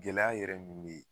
Gɛlɛya yɛrɛ min be yen